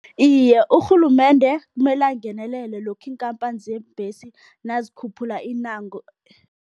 Iye, urhulumende kumele angenelele lokha iinkhamphani zeembhesi nazikhuphula